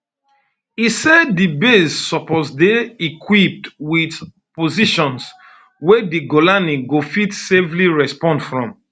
e say di base suppose dey equipped wit positions wey um di golani go fit safely respond from